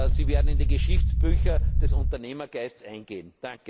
haben. Sie werden in die Geschichtsbücher des Unternehmergeists eingehen!